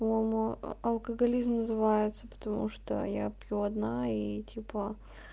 по-моему алкоголизм называется потому что я пью одна и типа